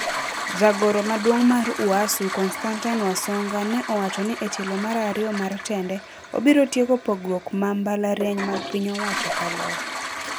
Jagoro maduong mar UASU Constantine Wasongo ne owacho ni e tiel marario mar tende, obiro tieko pogruok ma mbalariany mag piny owacho kaloe.